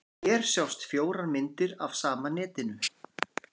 Hér sjást fjórar myndir af sama netinu.